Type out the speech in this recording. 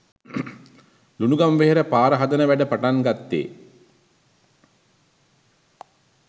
ලුණුගම්වෙහෙර පාර හදන වැඩ පටන් ගත්තේ